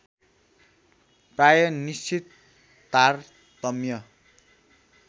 प्राय निश्चित तारतम्य